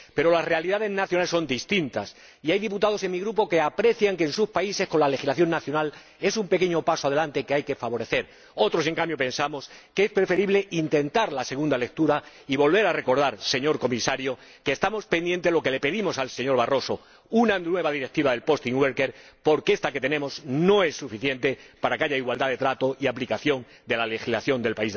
Pero las realidades nacionales son distintas, y hay diputados en mi grupo que aprecian que en sus países, habida cuenta de la legislación nacional, se dé este pequeño paso adelante, que hay que favorecer. Otros, en cambio, pensamos que es preferible intentar la segunda lectura y volver a recordar, señor Comisario, que estamos pendientes de lo que le pedimos al señor Barroso una nueva directiva sobre los trabajadores desplazados, porque esta que tenemos no es suficiente para que haya igualdad de trato y aplicación de la legislación del